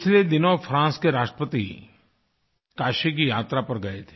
पिछले दिनों फ्रांस के राष्ट्रपति काशी की यात्रा पर गए थे